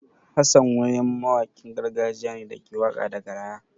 Hassan wayam mawaƙin gargajiya ne da ke waƙa da garaya.